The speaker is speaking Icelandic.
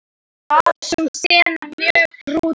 Var sú sena mjög brútal.